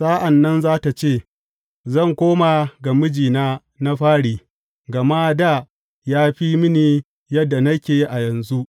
Sa’an nan za tă ce, Zan koma ga mijina na fari, gama dā ya fi mini yadda nake a yanzu.’